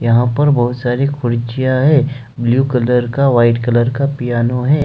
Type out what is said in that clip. यहा पर बहुत सारी है ब्लू कलर का व्हाइट कलर का पियानो है।